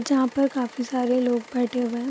जहाँ पर काफ़ी सारे लोग बैठे हुए हैं।